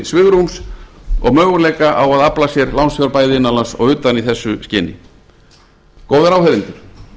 svigrúms og möguleika á að afla sér lánsfjár bæði innan lands og utan í þessu skyni góðir áheyrendur